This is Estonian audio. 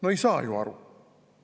No ei saa ju aru!